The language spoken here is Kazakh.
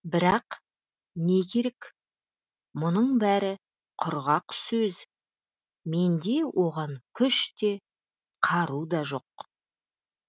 бірақ не керек мұның бәрі құрғақ сөз менде оған күш те қару да жоқ